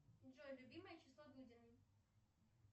джой любимое число дудиной